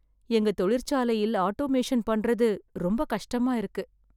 எங்க தொழிற்சாலையில் ஆட்டோமேசன் பண்றது ரொம்ப கஷ்டமா இருக்கு.